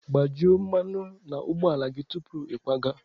Kpajuo mmanụ na ụgbọ gị tupu ịkwaga!